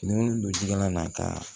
Fini don ji la ka